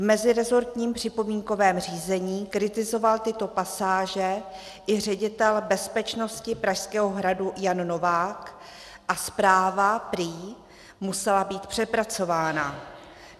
V meziresortním připomínkovém řízení kritizoval tyto pasáže i ředitel bezpečnosti Pražského hradu Jan Novák a zpráva prý musela být přepracována.